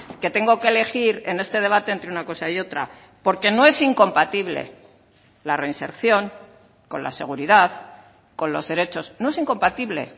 que tengo que elegir en este debate entre una cosa y otra porque no es incompatible la reinserción con la seguridad con los derechos no es incompatible